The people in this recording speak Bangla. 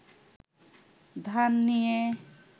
ধান নিয়ে